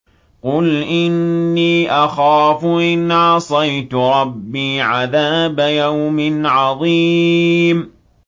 قُلْ إِنِّي أَخَافُ إِنْ عَصَيْتُ رَبِّي عَذَابَ يَوْمٍ عَظِيمٍ